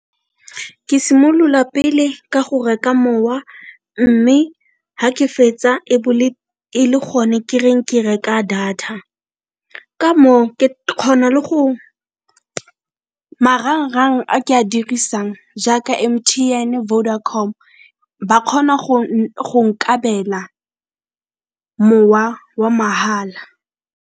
Ke simolola pele ka go reka mowa mme ga ke fetsa e be e le go ne ke reng ke reka data, ka moo ke kgona le go marang-rang a ke a dirisang jaaka M_T_N, Vodacom ba kgona go nkabela mowa wa magala.